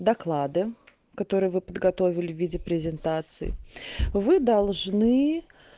доклады которые вы подготовили в виде презентации вы должны